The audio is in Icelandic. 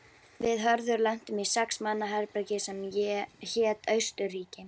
Við Hörður lentum í sex manna herbergi sem hét Austurríki.